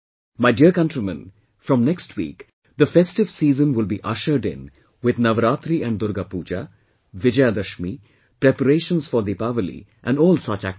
My dear countrymen, from next week festive season will be ushered in with Navratri and Durga Puja, Vijayadashmi, preparations for Deepavali and all such activities